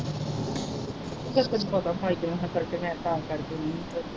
ਜਦ ਤੈਨੂੰ ਪਤਾ ਮੈਂ ਗਈ ਹੀ church ਮੈਂ ਤਾਂ ਕਰਕੇ ਨਹੀਂ ਹੀ ਧੋਤੇ।